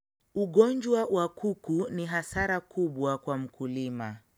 Ugonjwa wa kuku ni hasara kubwa kwa mkulima.